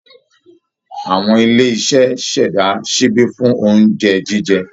Awọn ilé iṣẹ́ ṣẹ̀dá ṣíbí fún oúnjẹ jíjẹ